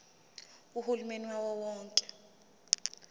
uhulumeni wawo wonke